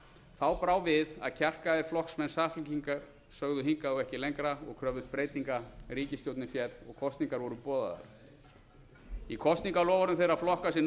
þá brá við að kjarkaðir flokksmenn samfylkingar sögðu hingað og ekki lengra og kröfðust breytinga ríkisstjórnin féll og kosningar voru boðaðar í kosningaloforðum þeirra flokka sem nú